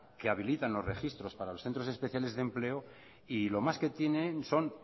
que habilitan los registros para los centros especiales de empleo y lo más que tienen son